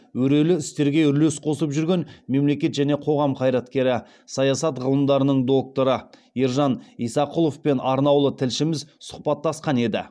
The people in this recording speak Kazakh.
өрелі істерге үлес қосып жүрген мемлекет және қоғам қайраткері саясат ғылымдарының докторы ержан исақұловпен арнаулы тілшіміз сұхбаттасқан еді